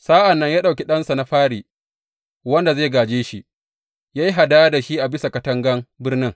Sa’an nan ya ɗauki ɗansa na fari, wanda zai gāje shi, ya yi hadaya da shi a bisa katangan birnin.